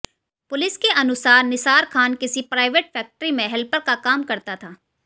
police के अनुसार निसार खान किसी प्राइवेट फैक्टरी में हेल्पर का काम करता था